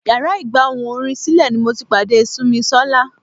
Yàrá ìgba ohùn orin sílè ni mo ti pàdé Simisola.